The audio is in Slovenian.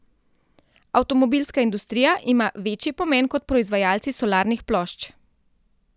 Avtomobilska industrija ima večji pomen kot proizvajalci solarnih plošč.